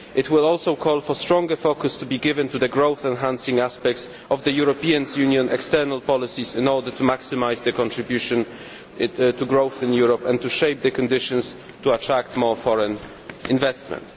It will also call for stronger focus to be given to the growth enhancing aspects of the European Union's external policies in order to maximise their contribution to growth in Europe and to shape the conditions to attract more foreign investment.